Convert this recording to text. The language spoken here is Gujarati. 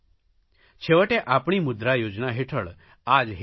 છેવટે આપણી મુદ્રા યોજના હેઠળ આ જ હેતુ છે